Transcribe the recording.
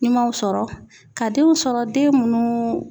Nimaw sɔrɔ ka denw sɔrɔ den munnu